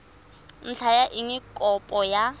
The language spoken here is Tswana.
ntlha ya eng kopo ya